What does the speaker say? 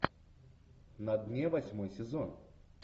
на дне восьмой сезон